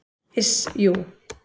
Iss, jú.